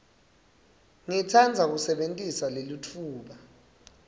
ngitsandza kusebentisa lelitfuba